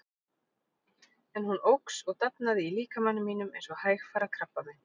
En hún óx og dafnaði í líkama mínum eins og hægfara krabbamein.